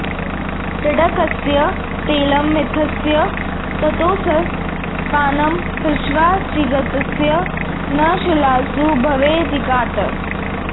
टङ्कस्य तैलमथितस्य ततोऽस्य पानं पश्चात्ग्शितस्य न शिलासु भवेद्विघातः